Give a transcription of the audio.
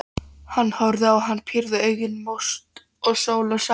Hún horfði á hann, pírði augun mót sól og sagði